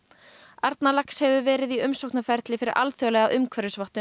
Arnarlax hefur verið í umsóknarferli fyrir alþjóðlega umhverfisvottun